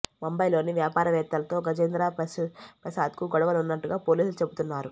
ముంబైలోని వ్యాపారవేత్తలతో గజేంద్ర ప్రసాద్కు గొడవలు ఉన్నట్టుగా పోలీసులు చెబుతున్నారు